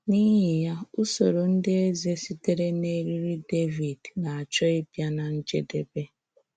N’íhì ya, ūsòrò ndị èzè sitere n’èrí̄rì̄ Dèvíd na-àchọ́ íbịa ná njèdèbè.